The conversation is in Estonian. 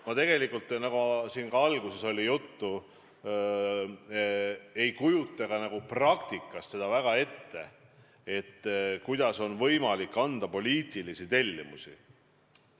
Ma tegelikult, nagu siin juba juttu oli, ei kujuta praktikas seda ette, kuidas on võimalik anda poliitilisi tellimusi.